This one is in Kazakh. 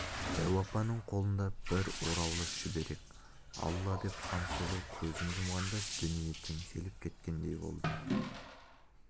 дәу апаның қолында бір ораулы шүберек алла деп хансұлу көзін жұмғанда дүние теңселіп кеткендей болды